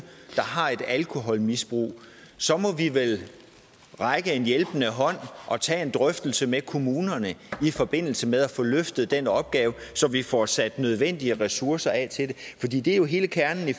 har et alkoholmisbrug så må vi vel række hjælpende hånd og tage en drøftelse med kommunerne i forbindelse med at få løftet den opgave så vi får sat nødvendige ressourcer af til det hele kernen i